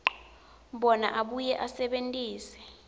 bona abuye asebentise